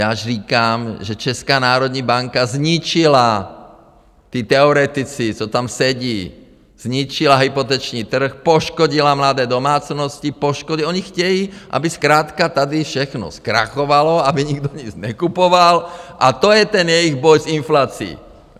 Já říkám, že Česká národní banka zničila, ti teoretici, co tam sedí, zničila hypoteční trh, poškodila mladé domácnosti, poškodí - oni chtějí, aby zkrátka tady všechno zkrachovalo, aby nikdo nic nekupoval, a to je ten jejich boj s inflací.